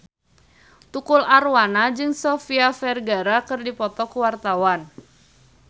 Tukul Arwana jeung Sofia Vergara keur dipoto ku wartawan